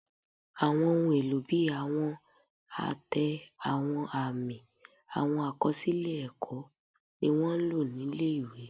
Àwọn ohun èlò bí àwọn àtẹ, àwọn àmì, àwọn àkọsílẹ̀ ẹ̀kọ́, ni wọ́n ń lò nílé ìwé